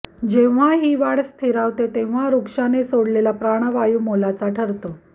जेव्हा ही वाढ स्थिरावते तेव्हा वृक्षाने सोडलेला प्राणवायू मोलाचा ठरतो